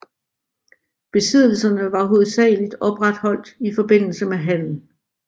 Besiddelserne var hovedsageligt opretholdt i forbindelse med handel